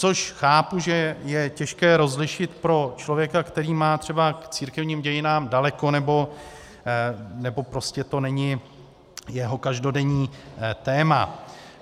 Což chápu, že je těžké rozlišit pro člověka, který má třeba k církevním dějinám daleko, nebo to prostě není jeho každodenní téma.